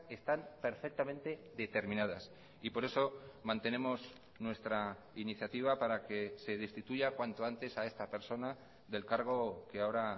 están perfectamente determinadas y por eso mantenemos nuestra iniciativa para que se destituya cuanto antes a esta persona del cargo que ahora